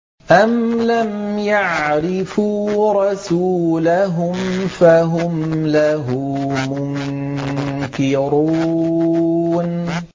أَمْ لَمْ يَعْرِفُوا رَسُولَهُمْ فَهُمْ لَهُ مُنكِرُونَ